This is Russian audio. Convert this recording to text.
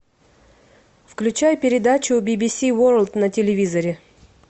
включай передачу бибиси ворлд на телевизоре